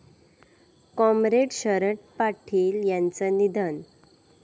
comrade Sharad Patil यांचं निधन